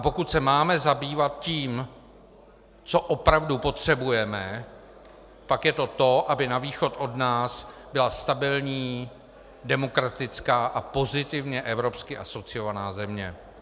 A pokud se máme zabývat tím, co opravdu potřebujeme, pak je to to, aby na východ od nás byla stabilní, demokratická a pozitivně evropsky asociovaná země.